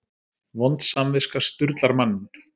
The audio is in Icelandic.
Vond samviska sturlar manninn.